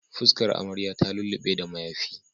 Fuskar amarya ta lullu6e da mayafi